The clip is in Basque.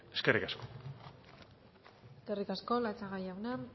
eskerrik asko eskerrik asko latxaga jauna